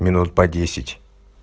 минут по десять